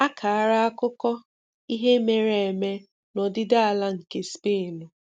Àkàrà àkùkọ̀ ihe mere eme na ọdị̀dị̀ ala nke Spain